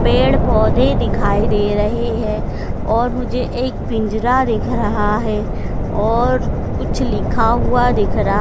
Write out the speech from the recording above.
पेड़ पौधे दिखाई दे रहे हैं और मुझे एक पिंजरा देख रहा हैं और कुछ लिखा हुआ दिख रहा--